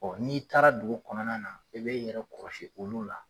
n'i taara dugu kɔnɔna na, i bi yɛrɛ kɔlɔsi olu la